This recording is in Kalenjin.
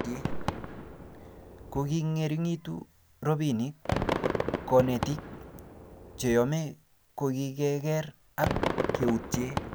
kingongeringutu robinik, konetiik cheyome kogigigeer ak keutye